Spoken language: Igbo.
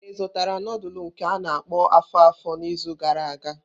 Ị zụtara nudulu nke a-na akpo afo-afo n'izu gara aga?